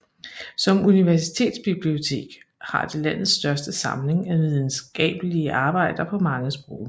Som universitetsbibliotek har det landets største samling af videnskabelige arbejder på mange sprog